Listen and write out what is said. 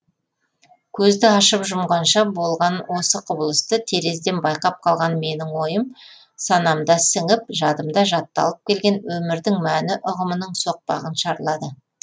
көзді ашып жұмғанша болған осы құбылысты терезеден байқап қалған менің ойым санамда сіңіп жадымда жатталып келген өмірдің мәні ұғымының соқпағын шарлады